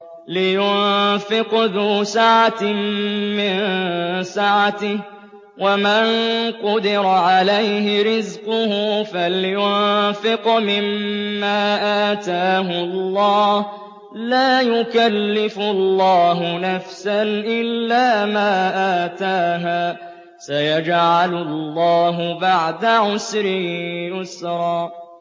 لِيُنفِقْ ذُو سَعَةٍ مِّن سَعَتِهِ ۖ وَمَن قُدِرَ عَلَيْهِ رِزْقُهُ فَلْيُنفِقْ مِمَّا آتَاهُ اللَّهُ ۚ لَا يُكَلِّفُ اللَّهُ نَفْسًا إِلَّا مَا آتَاهَا ۚ سَيَجْعَلُ اللَّهُ بَعْدَ عُسْرٍ يُسْرًا